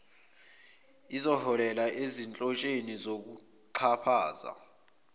eziholela ezinhlotsheni zokuxhaphaza